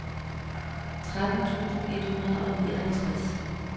tretten tusind et hundrede og nioghalvtreds